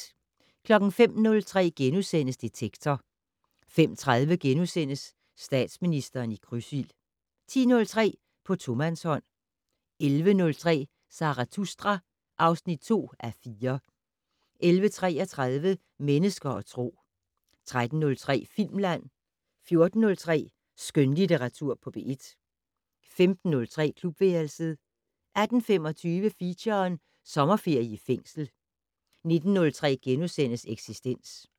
05:03: Detektor * 05:30: Statsministeren i krydsild * 10:03: På tomandshånd 11:03: Zarathustra (2:4) 11:33: Mennesker og Tro 13:03: Filmland 14:03: Skønlitteratur på P1 15:03: Klubværelset 18:25: Feature: Sommerferie i fængsel 19:03: Eksistens *